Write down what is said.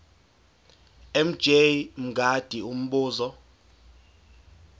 mj mngadi umbuzo